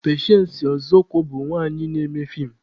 Pechensị Ọzọkwọr bụ nwanyị na-eme fiim.